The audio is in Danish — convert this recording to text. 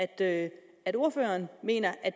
at ordføreren mener at